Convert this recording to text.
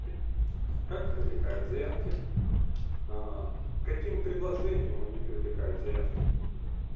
как привлекают заявки каким каким предложением они привлекают заявки